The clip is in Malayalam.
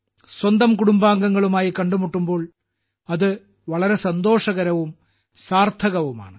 സ്വന്തം കുടുംബാംഗങ്ങളുമായി കണ്ടുമുട്ടുമ്പോൾ അത് വളരെ സന്തോഷകരവും സാർത്ഥകവുമാണ്